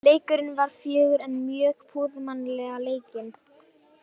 Leikurinn var fjörugur en mjög prúðmannlega leikinn.